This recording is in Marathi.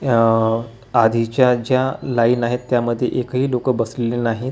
आह आधीच्या ज्या लाईन आहेत त्यामध्ये एकही लोकं बसलेले आहेत तू--